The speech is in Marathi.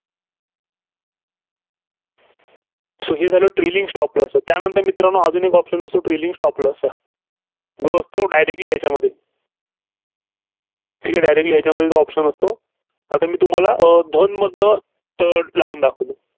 so हे झालं trailing stop loss त्यानंतर मित्रांनो, अजून एक option असतो, trailing stop loss चा. जो असतो, Directly ह्याच्यामध्ये ठीक आहे, directly ह्याच्यामध्ये जो option असतो. आता मी तुम्हाला अं दोन मधनं अं लावून दाखवतो.